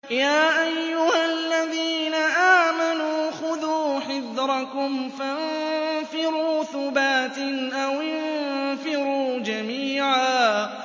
يَا أَيُّهَا الَّذِينَ آمَنُوا خُذُوا حِذْرَكُمْ فَانفِرُوا ثُبَاتٍ أَوِ انفِرُوا جَمِيعًا